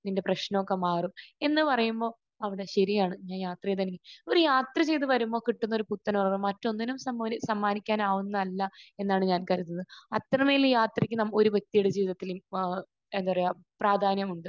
നിന്റെ പ്രശ്നമൊക്കെ മാറും. എന്ന് പറയുമ്പോൾ, അതെ. ശരിയാണ്. ഞാൻ യാത്ര ചെയ്ത്. ഒരു യാത്ര ചെയ്ത് വരുമ്പോൾ കിട്ടുന്നൊരു പുത്തനുണർവ് മറ്റൊന്നിനും സമ്മോൻ...സമ്മാനിക്കാൻ ആവുന്നതല്ല എന്നാണ് ഞാൻ കരുതുന്നത്. അത്രമേൽ യാത്രക്ക് നമുക്ക് ഒരു വ്യക്തിയുടെ ജീവിതത്തിൽ വ...എന്താ പറയാ പ്രാധാന്യമുണ്ട്.